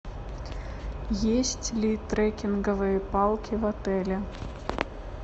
есть ли трекинговые палки в отеле